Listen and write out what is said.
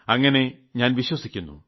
അങ്ങിനെ ഞാൻ വിശ്വസിക്കുന്നു